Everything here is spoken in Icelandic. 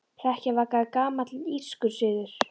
Hrekkjavaka er gamall írskur siður.